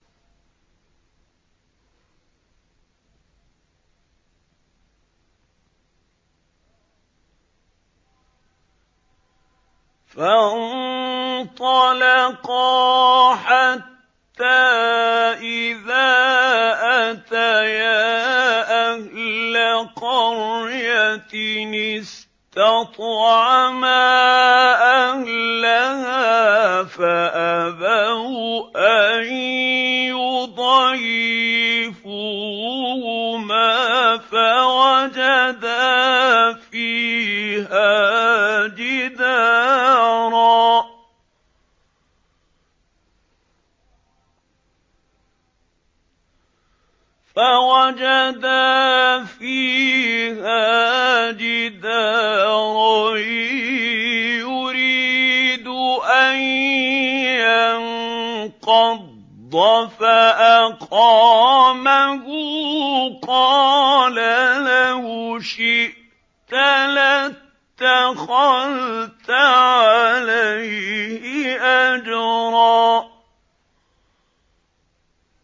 فَانطَلَقَا حَتَّىٰ إِذَا أَتَيَا أَهْلَ قَرْيَةٍ اسْتَطْعَمَا أَهْلَهَا فَأَبَوْا أَن يُضَيِّفُوهُمَا فَوَجَدَا فِيهَا جِدَارًا يُرِيدُ أَن يَنقَضَّ فَأَقَامَهُ ۖ قَالَ لَوْ شِئْتَ لَاتَّخَذْتَ عَلَيْهِ أَجْرًا